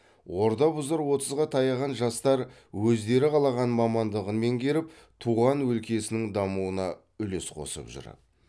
орда бұзар отызға таяған жастар өздері қалаған мамандығын меңгеріп туған өлкесінің дамуына үлес қосып жүр